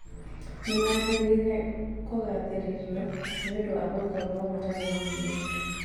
Nĩ magĩrĩire kũgaathĩrĩrio nĩ ũndũ wa gũkorũo matarĩ na mwĩyendo